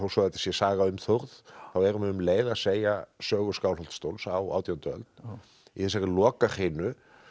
þetta sé saga um Þórð þá er hún um leið að segja sögu Skálholtsstóls á átjándu öld í þessari lokahrinu